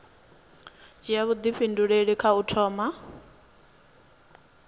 dzhia vhuifhinduleli kha u thoma